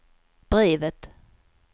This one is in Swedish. brevet